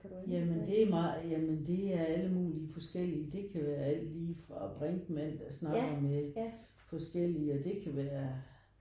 Ja men det er meget ja men det er alle mulige forskellige. Det kan være alt lige fra Brinkmann der snakker med forskellige og det kan være